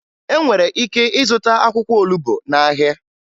E nwere ike ịzụta akwụkwọ olubo n'ahịa